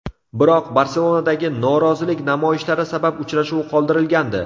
Biroq Barselonadagi norozilik namoyishlari sabab uchrashuv qoldirilgandi.